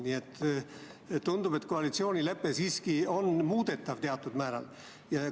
Nii et tundub, et koalitsioonilepe on siiski teatud määral muudetav.